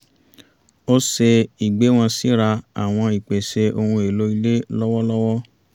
ó ṣe ìgbéwọ̀n síra àwọn ìpèsè ohun èlò ilé lọ́wọ́lọ́wọ́